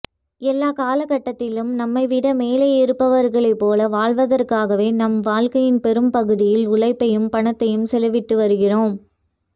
எல்லா காலகட்டத்திலும் நம்மைவிட மேலே இருப்பவர்களைப்போல வாழ்வதற்காகவே நாம் வாழ்க்கையின் பெரும்பகுதியில் உழைப்பையும் பணத்தையும் செலவிட்டுவருகிறோம்